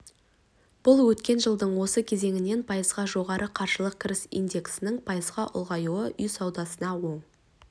бұл өткен жылдың осы кезеңінен пайызға жоғары қаржылық кіріс индексінің пайызға ұлғаюы үй саудасына оң